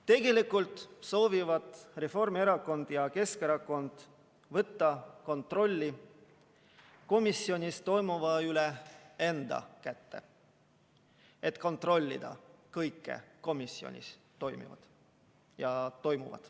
Tegelikult soovivad Reformierakond ja Keskerakond võtta kontrolli komisjonis toimuva üle enda kätte, et kontrollida kõike komisjonis toimuvat.